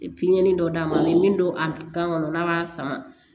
Fiɲɛnin dɔ d'a ma a bɛ min don a kan kɔnɔ n'a b'a sama